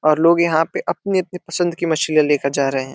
और लोग यहाँ पे अपने-अपने पसंद की लेकर जा रहे हैं।